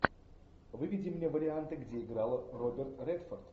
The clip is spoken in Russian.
выведи мне варианты где играл роберт редфорд